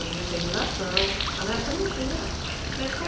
Hoje a gente tem iluminação, mas na época não tinha. Mas como